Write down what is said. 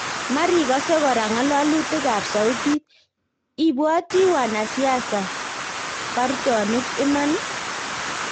Marikose kora ngalalutik ab Sautit , ipwati wanasiasa bartonik iman?